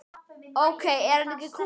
Ok, er hann ekki kúl?